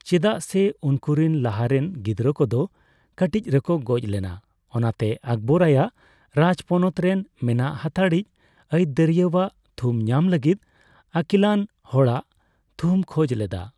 ᱪᱮᱫᱟᱜ ᱥᱮ ᱩᱱᱠᱩᱨᱮᱱ ᱞᱟᱦᱟᱛᱮᱱ ᱜᱤᱫᱽᱨᱟᱹ ᱠᱚᱫᱚ ᱠᱟᱹᱴᱤᱡ ᱨᱮᱠᱚ ᱜᱚᱡ ᱞᱮᱱᱟ, ᱚᱱᱟᱛᱮ ᱟᱠᱵᱚᱨ ᱟᱭᱟᱜ ᱨᱟᱡᱽ ᱯᱚᱱᱚᱛ ᱨᱮᱱ ᱢᱮᱱᱟᱜ ᱦᱟᱛᱟᱲᱤᱡ ᱟᱹᱭᱫᱟᱹᱨᱤᱭᱟᱹᱭᱟᱜ ᱛᱷᱩᱢ ᱧᱟᱢ ᱞᱟᱹᱜᱤᱫ ᱟᱠᱤᱞᱟᱱ ᱦᱚᱲᱟᱜ ᱛᱷᱩᱢᱮ ᱠᱷᱚᱡ ᱞᱮᱫᱟ ᱾